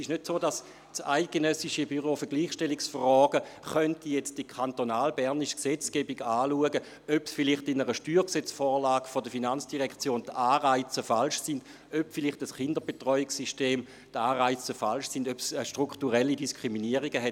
Es ist nicht so, dass das Eidgenössische Büro für die Gleichstellung von Frau und Mann (EBG) die kantonalbernische Gesetzgebung anschauen und prüfen könnte, ob vielleicht in einer Steuergesetzvorlage der FIN oder beim Kinderbetreuungssystem die Anreize falsch sind und ob es strukturelle Diskriminierungen gibt.